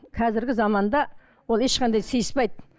қазіргі заманда ол ешқандай сыйыспайды